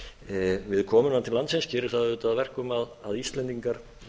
við komuna til landsins gerir það auðvitað að verkum að íslendingar